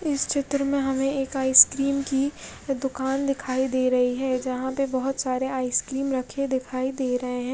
इस चित्र में हमे एक आईसक्रीम की दुकान दिखाई दे रही है जहा पे बोहोत सारे आईसक्रीम रखे दिखाए दे रहे है।